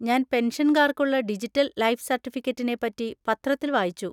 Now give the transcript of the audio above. ഞാൻ പെൻഷൻകാർക്കുള്ള digital life സെർട്ടിഫിക്കറ്റിനെ പറ്റി പത്രത്തിൽ വായിച്ചു.